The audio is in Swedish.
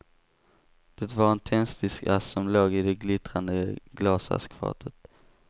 Det var en tändsticksask som låg i det glittrande glasaskfatet.